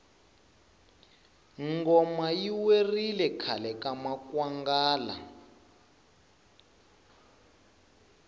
ngoma yi werile khale ka makwonga